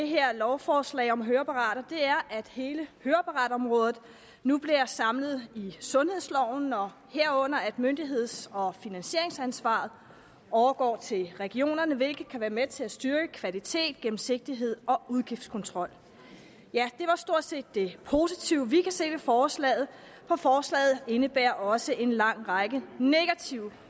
her lovforslag om høreapparater er at hele høreapparatområdet nu bliver samlet i sundhedsloven og herunder at myndigheds og finansieringsansvaret overgår til regionerne hvilket kan være med til at styrke kvalitet gennemsigtighed og udgiftskontrol ja det var stort set det positive vi kan se ved forslaget for forslaget indebærer også en lang række negative